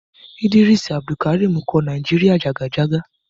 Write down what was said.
Ídírísù Àbùdùkàrímì kọ Nàíjíríà jàgàjágá.